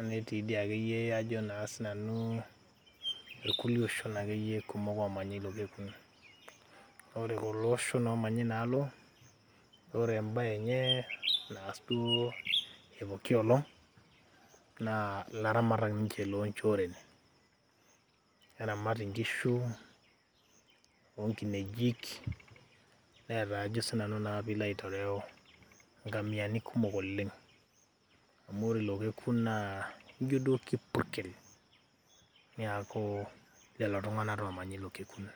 netii dii akeyie ajo naa sinanu irkulie oshon akeyie kumok omanya ilo kekun. Ore kulo oshon omanya inaalo, ore ebae enye naas duo epooki olong', naa ilaramatak ninche lonchoren. Neramat inkishu, onkinejik, neeta ajo sinanu naa pilo aitereu nkamiani kumok oleng'. Amu ore ilo kekun naa, ijo duo kipurkel, neeku lelo tung'anak tomanya ilo kekun.